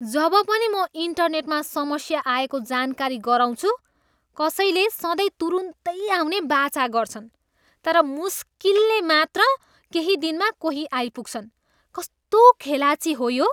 जब पनि म इन्टेरनेटमा समस्या आएको जानकारी गराउँछु, कसैले सधैँ तुरुन्तै आउने वाचा गर्छन्। तर मुस्किलले मात्र केही दिनमा कोही आइपुग्छन्। कस्तो खेलाँची हो यो!